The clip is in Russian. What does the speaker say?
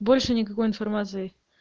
больше никакой информации